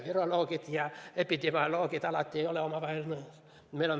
Viroloogid ja epidemioloogid ei ole alati üksteisega nõus.